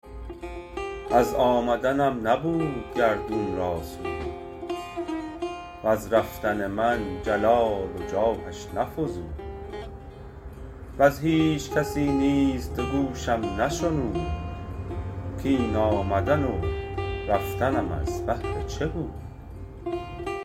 از آمدنم نبود گردون را سود وز رفتن من جلال و جاهش نفزود وز هیچ کسی نیز دو گوشم نشنود کاین آمدن و رفتنم از بهر چه بود